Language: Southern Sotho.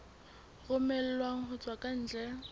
romellwang ho tswa ka ntle